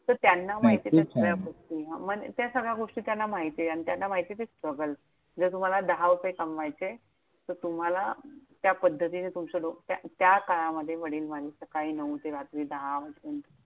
नाही तर त्यांना माहितीये कि कुठल्या गोष्टी, नाही खूप छान म्हणजे त्या सगळया गोष्टी त्यांना नाहीये आणि त्यांना माहितीये ते struggle. जर तुम्हाला दहा रुपये कमवायचेत, तर तुम्हाला त्या पद्धतीने तुमचं डोकं, त्या काळामध्ये वडील माझे सकाळी नऊ ते रात्री दहा वाजेपर्यंत